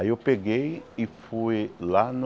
Aí eu peguei e fui lá no...